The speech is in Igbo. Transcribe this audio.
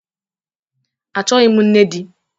Achọghị m nne di